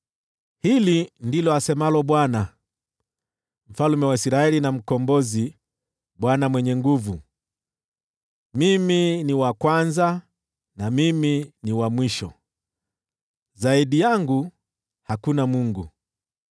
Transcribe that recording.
“Hili ndilo asemalo Bwana , Mfalme wa Israeli na Mkombozi, Bwana Mwenye Nguvu Zote: Mimi ni wa kwanza na Mimi ni wa mwisho; zaidi yangu hakuna Mungu.